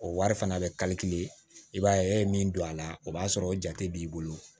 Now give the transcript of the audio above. O wari fana bɛ i b'a ye e ye min don a la o b'a sɔrɔ o jate b'i bolo